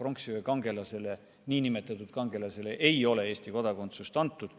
pronksiöö kangelasele, nn kangelasele ei ole Eesti kodakondsust antud.